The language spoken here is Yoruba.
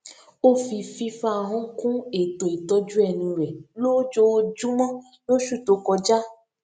ó fi fífá ahón kún ètò ìtójú ẹnu rè lójoojúmó lóṣù tó kọjá